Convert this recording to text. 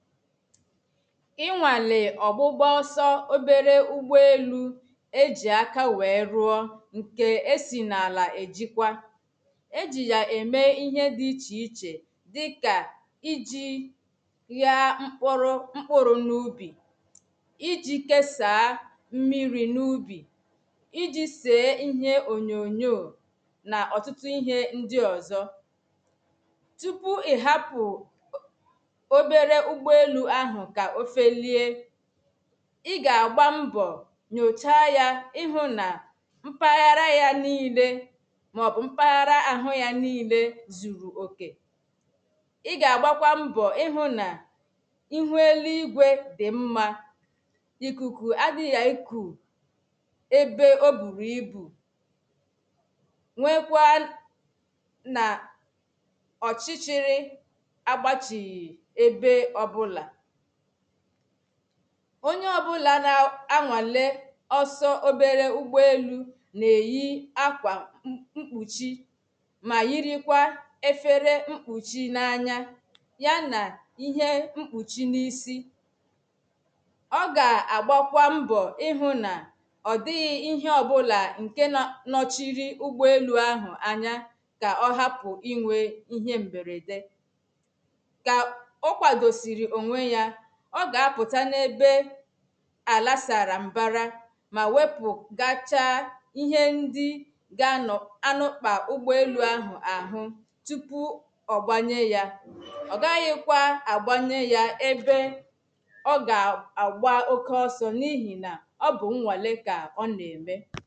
Ị̀ṅwalē ọ̀gbụ̄gbọ̀sọ̀ obērē ụ̀gbọ elu Ejì àka wēē rụọ ṅ̀kē e si n’àlá ejikwa. Ejì ya ēme ìhe di ìche ìche dika ij̀ị̇ị̀ Ghaa m̀kpụ̀rụ̀ m̀kpụrụ n’ubi Ị̀jì kesaa mmị̀rì n’ubi Ị̀jì sēē ìhē ōnyō nyō na ọ̀tụ̀tụ̀ ihē ṅdi ọ̀zọ. Tupū ìhapụ̄ obērē ụ̀gbọ́ elu ahụ ka ofelie Ì ga agba m̀bọ̄ nyōcha ya ìhụ̄ na Mpàghárá ya niile mọbụ mpàghara ahụ ya nile zuru ōkē Ị̀ gagbàkwa m̀bọ̀ ihụ na Ịhūū èlìgwe di m̀ma Ị̀kùku àdigha ị̀kū ebe obūrū ị̀bu ṅwēkwaa na ọ̀chìchị̀rị̀ àgbàchighị̄ ēbē ọ̀bụla oṅyē ọ̀bụla na-aṅwalē ọ̀so obērē ụ̀gbọ elu na-eyi akwa m̀m m̀kpuchì ma yirikwá ēfēre m̀kpuchì n’aṅya ya na ìhe m̀kpụchì n’isì Ọ ga agbakwa m̀bọ̀ ị̀hụ̄ na Ọdighị ìhe ọbụla ṅkē na nọchiri ụgbọ elu ahụ àṅya. Ka ọ hapụ ìṅwe ìhē mbērēdē Ka ọ kwadosìrì òṅwe ya, ọ ga apụta n’ebē. Àlà sara m̀bara ma wepu gacha ìhe ǹdì Ganò ganūkpa ụ̀gbọ̄ elu ahụ̀ àhụụ́, tupu ọ̀ gbanyē ya. Ọ gaghịkwa àgbanyē ya ēbé Ọ̀̀ ga agba òke ọ̀sọ niihi na ọ bụ̄ ṅwale ka ọ̀ nēmē.